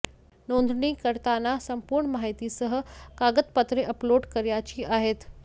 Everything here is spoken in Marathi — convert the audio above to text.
नोंदणी करताना संपूर्ण माहितीसह कागदपत्रे अपलोड करायची आहेत